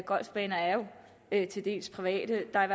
golfbaner er jo til dels private der er